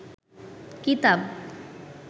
কিতাব